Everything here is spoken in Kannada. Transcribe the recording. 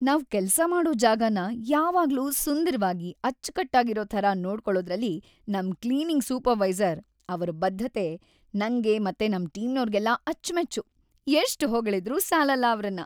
ನಾವ್ ಕೆಲ್ಸ ಮಾಡೋ ಜಾಗನ ಯಾವಾಗ್ಲೂ ಸುಂದ್ರವಾಗಿ, ಅಚ್ಚ್‌ಕಟ್ಟಾಗಿರೋ ಥರ ನೋಡ್ಕೊಳೋದ್ರಲ್ಲಿ ನಮ್‌ ಕ್ಲೀನಿಂಗ್‌ ಸೂಪರ್ವೈಸರ್‌ ಅವ್ರ್‌ ಬದ್ಧತೆ ನಂಗೆ ಮತ್ತೆ ನಮ್‌ ಟೀಮ್ನೋರ್ಗೆಲ್ಲ ಅಚ್ಮೆಚ್ಚು; ಎಷ್ಟ್ ಹೊಗಳಿದ್ರೂ ಸಾಲಲ್ಲ ಅವ್ರನ್ನ.